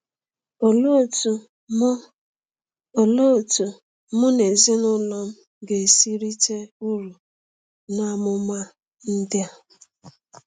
Olee otú mụ Olee otú mụ na ezinụlọ m ga-esi rite uru n’amụma ndị a?